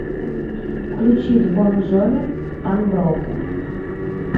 включить бон джови анброукен